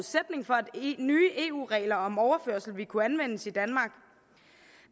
nye eu regler om overførsel ville kunne anvendes i danmark